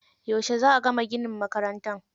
Yauce za a gama ginin makarantar?